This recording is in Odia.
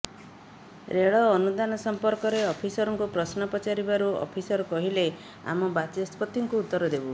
ରେଳ ଅନୁଦାନ ସମ୍ପର୍କରେ ଅଫିସରଙ୍କୁ ପ୍ରଶ୍ନ ପଚାରିବାରୁ ଅଫିସର କହିଲେ ଆମେ ବାଚସ୍ପତିଙ୍କୁ ଉତ୍ତର ଦେବୁ